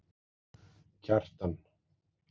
Kjartan